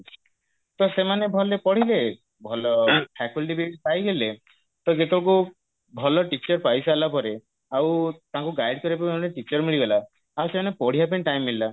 ତ ସେମାନେ ଭଲରେ ପଢିବେ ଭଲ faculty ବି ପାଇଗଲେ ତ କୁ ଭଲ teacher ପଇସାରିଲା ପରେ ଆଉ ତାଙ୍କୁ guide କରିବା ପାଇଁ ଜଣେ teacher ମିଳିଗଲା ଆଉ ସେମାନେ ପଢିବା ପାଇଁ time ମିଳିଲା